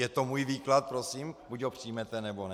Je to můj výklad, prosím, buď ho přijmete, nebo ne.